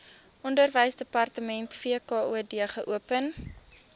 onderwysdepartement wkod geopen